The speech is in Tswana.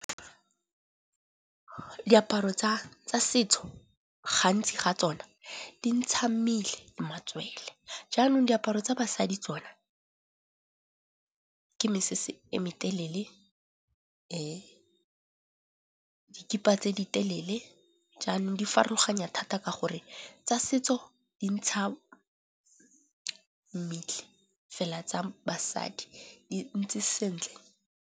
Diaparo tsa setso gantsi ga tsona di ntsha mmele, matswele. Jaanong diaparo tsa basadi tsona ke mesese e me telele, ke dikhipa tse di telele. Jaanong di farologanya thata ka gore tsa setso di ntsha mmele fela tsa basadi di ntse sentle.